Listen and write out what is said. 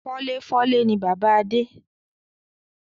Fọ́léfọ́lé ni bàbá Adé